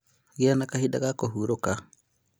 Gĩa na kahinda ga kũhurũka